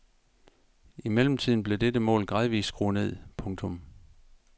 I mellemtiden blev dette mål gradvist skruet ned. punktum